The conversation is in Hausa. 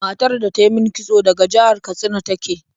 Matar da ta yi min kitso daga jihar Katsina ta ke.